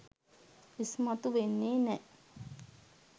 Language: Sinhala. ඉස්මතු වෙන්නේ නෑ.